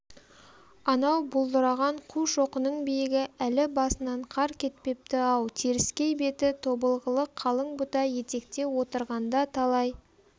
анау бұлдыраған қушоқының биігі әлі басынан қар кетпепті-ау теріскей беті тобылғылы қалың бұта етекте отырғанда талай